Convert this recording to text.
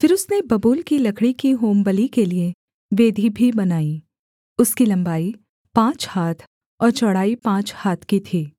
फिर उसने बबूल की लकड़ी की होमबलि के लिये वेदी भी बनाई उसकी लम्बाई पाँच हाथ और चौड़ाई पाँच हाथ की थी